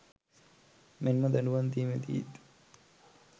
මෙන්ම දඩුවම් දී‍මේදිත්